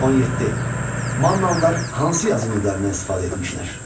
17. Mannalılar hansı yazı növlərindən istifadə etmişdilər?